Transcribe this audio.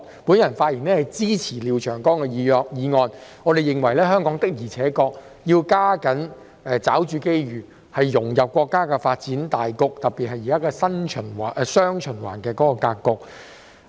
我發言支持廖長江議員的議案，並認為香港必須加緊抓住機遇，融入國家的發展大局，特別是現今的"雙循環"格局。